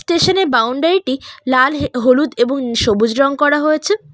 Station এর বাউন্ডারিটি টি লাল হে হলুদ এবং সবুজ রং করা হয়েছে।